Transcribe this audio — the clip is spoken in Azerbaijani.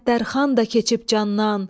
Səttərxan da keçib candan.